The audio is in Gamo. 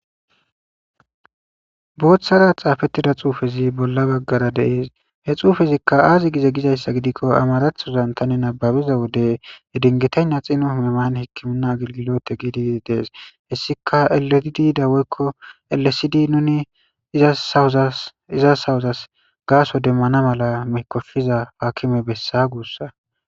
Booththara xaafettida xuufezi bolla baggara deees he xuufezikka aazi gize gizayssa gidikko amarathozan tani nababiza wode edingetaynna xinu hmeman hikkimunna agilgilote gidi dees hessika eletidi dawoykko ellesidi nuni izasawozas gaaso demmana mala mekofiza paakime bessa guussa.